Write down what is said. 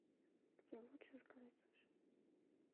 где лучше заказать суши